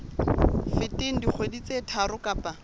feteng dikgwedi tse tharo kapa